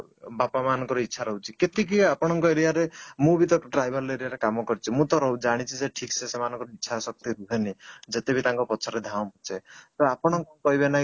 ବାପା ମାନଙ୍କର ଇଚ୍ଛା ରହୁଛି କେତିକି ଆପଣଙ୍କର area ରେ ମୁଁ ବି ତ tribal area ରେ କାମ କରୁଛି ମୁଁ ତ ଜାଣିଛି ଯେ ଠିକ ସେ ସେମାନଙ୍କର ଇଚ୍ଛା ଶକ୍ତି ହୁଏନି ଯଦି ବି ତାଙ୍କ ପଛରେ ଧାଉଁଛେ ତ ଆପଣଙ୍କୁ କହିବେ ନାହିଁ